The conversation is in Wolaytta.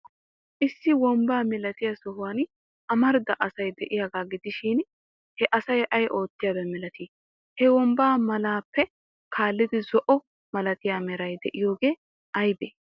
Issi wombba malatiya sohuwan amarida asay de'iyaagaa gidishin, he asay ay oottiyaaba malatii? He wombba malappe kaallidi zo'o malatiya meray de'iyoobay aybee?